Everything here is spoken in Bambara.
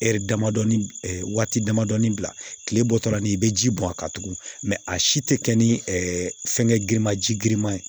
waati damadɔ bila tile bɔtɔ la ni bɛ ji bɔn a kan tugun mɛ a si tɛ kɛ ni fɛngɛ girinmanji girinman ye